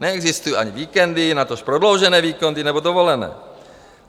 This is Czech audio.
Neexistují ani víkendy, natož prodloužené víkendy nebo dovolené.